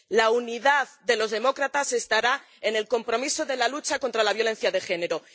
La unidad de los demócratas estará en el compromiso de la lucha contra la violencia de género.